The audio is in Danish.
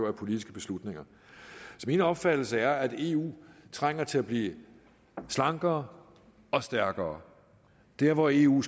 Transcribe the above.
af politiske beslutninger så min opfattelse er at eu trænger til at blive slankere og stærkere der hvor eu